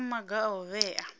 kha maga a u vhea